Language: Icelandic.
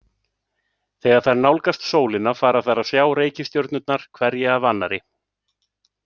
Þegar þær nálgast sólina fara þær að sjá reikistjörnurnar hverja af annarri.